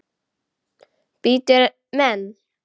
Bítur menn?